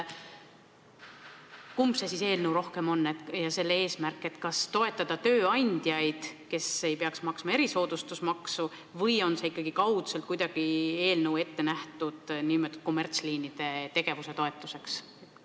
Kumb on siis rohkem eelnõu eesmärk: kas toetada tööandjaid, kes ei peaks maksma erisoodustusmaksu, või on see eelnõu kaudselt ikkagi ette nähtud kommertsliinide tegevuse toetuseks?